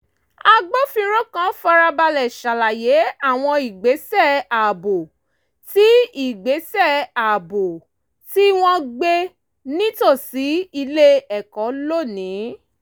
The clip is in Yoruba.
agbófinró kan farabalẹ̀ ṣàlàyé àwọn ìgbésẹ̀ ààbò tí ìgbésẹ̀ ààbò tí wọ́n gbé nítòsí ilé ẹ̀kọ́ lónìí